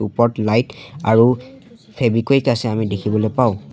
ওপৰত লাইট আৰু ফেবিকুইক আছে আমি দেখিবলৈ পাওঁ।